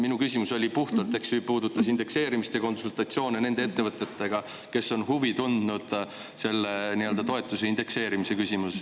Minu küsimus puudutas puhtalt indekseerimist ja konsultatsioone nende ettevõtetega, kes on huvi tundnud selle toetuse indekseerimise vastu.